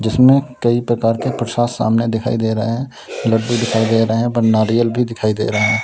जिसमें कई प्रकार के प्रसाद सामने दिखाई दे रहे है लड्डू दिखाई दे रहे हैं पर नारियल भी दिखाई दे रहा है।